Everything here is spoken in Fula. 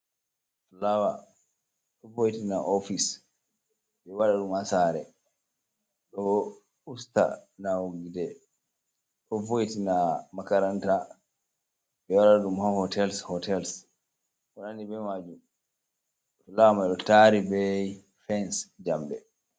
Fulawa ɗo vo' ina ofis. Ɓeɗo waɗa ɗum ha sare, ɗo usta nawugo gite, ɗo vo'ina makaranta. Ɓe ɗo waɗa ɗum ha hotels, hotels konandi bei majum. Fulawa mai ni ɗo tari bei fens jamɗe.